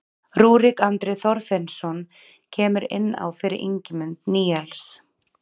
Rúrik Andri Þorfinnsson kemur inn á fyrir Ingimund Níels.